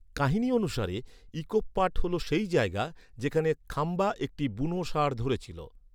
কাহিনী অনুসারে, ‘ইকোপ পাট’ হল সেই জায়গা, যেখানে খাম্বা একটি বুনো ষাঁড় ধরেছিল।